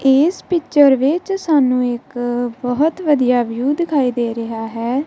ਏਸ ਪਿਕਚਰ ਵਿੱਚ ਸਾਨੂੰ ਇੱਕ ਬੋਹਤ ਵਧੀਆ ਵਿਊ ਦਿਖਾਈ ਦੇ ਰਿਹਾ ਹੈ।